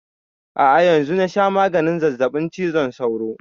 A'a yanzu na sha maganin zazzaɓin cizon sauro